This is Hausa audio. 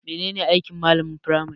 Menene aiki malamin firmari?